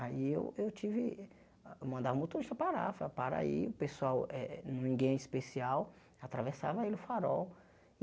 Aí eu eu tive, eu mandava o motorista parar, eu falava, para aí, o pessoal eh eh, ninguém é especial, atravessava ele o farol.